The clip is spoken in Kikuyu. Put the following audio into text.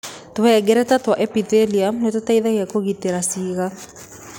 Tũhengereta twa epithelium nĩ tũteithagia kũgitĩra ciĩga.